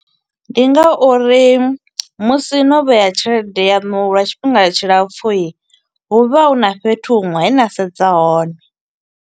Ndi nga uri musi no vhea tshelede yanu lwa tshifhinga tshilapfu, hu vha huna fhethu huṅwe he na sedza hone.